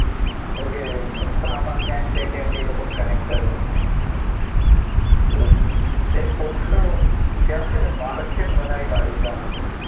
વગેરે બધામાં ક્યાંક ને ક્યાંક એ લોકો connect જ હોય છે. અમ એક પોતાનું કહેવાય ને માર્કેટ બનાવી કાઢ્યું છે આ લોકોએ